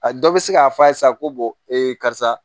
A dɔ bɛ se k'a fɔ a ye sa ko karisa